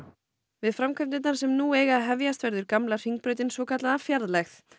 við framkvæmdirnar sem nú eiga að hefjast verður gamla Hringbrautin svokallaða fjarlægð